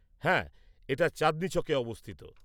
হ্যাঁ, এটা চাঁদনি চকে অবস্থিত।